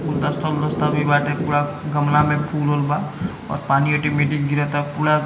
गुलदस्ता उलदस्ता भी बाटे पूरा गमला में फूल उल बा और पानी आटोमेटिक गिराता पूरा--